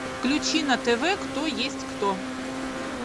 включи на тв кто есть кто